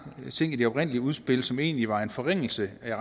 ting i det oprindelige udspil som egentlig var en forringelse af